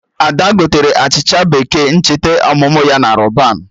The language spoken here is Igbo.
Ada gotere achịcha bekee ncheta ọmụmụ ya na Rọban